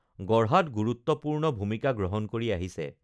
গঢ়াত গুৰুত্ত্বপূৰ্ণ ভূমিকা গ্ৰহণ কৰি আহিছে